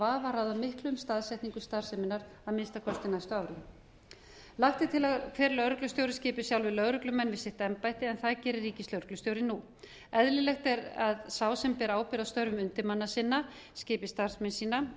vafa ráða miklu um staðsetningu starfseminnar að minnsta kosti næstu árin lagt er til að hver lögreglustjóri skipi sjálfir lögreglumenn í sitt embætti en það gerir ríkislögreglustjóri nú eðlilegt er að sá sem ber ábyrgð á störfum undirmanna sinna skipi starfsmenn sína